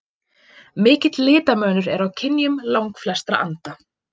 Mikill litamunur er á kynjum langflestra anda.